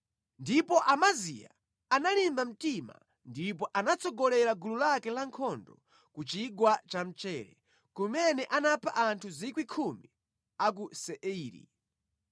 Ndipo Amaziya analimba mtima ndipo anatsogolera gulu lake lankhondo ku Chigwa cha Mchere, kumene anapha anthu 10,000 a ku Seiri.